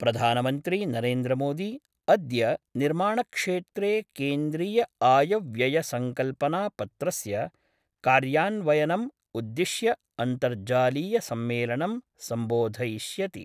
प्रधानमन्त्री नरेन्द्रमोदी अद्य निर्माणक्षेत्रे केन्द्रीयआयव्ययसङ्कल्पनापत्रस्य कार्यान्वयनम् उद्दिश्य अन्तर्जालीय सम्मेलनं सम्बोधयिष्यति।